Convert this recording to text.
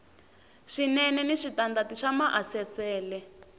swinene ni switandati swa maasesele